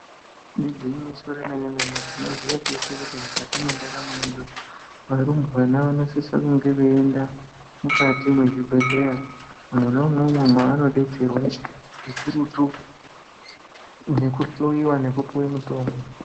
Igwinyiso remene-mene tinoziya teshe kuti mukati mwendaramo yedu arumbwana vanosisa kunge veienda mukati mwezvibhehleya mwona imwomwo mwavanodetserwa zvikurutu nekuhloyiwa nekupuwe mutombo.